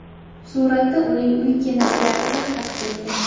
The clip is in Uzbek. Suratda uning uy kinoteatri aks etgan.